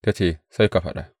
Ta ce, Sai ka faɗa.